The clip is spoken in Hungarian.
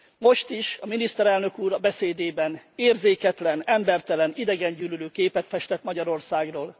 Most is, a miniszterelnök úr a beszédében érzéketlen, embertelen, idegengyűlölő képet festett Magyarországról.